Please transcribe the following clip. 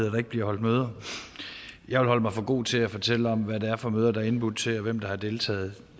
at der ikke bliver holdt møder jeg vil holde mig for god til at fortælle om hvad det er for møder der er indbudt til og hvem der har deltaget